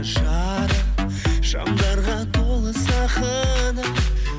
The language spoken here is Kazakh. жарық шамдарға толы сахна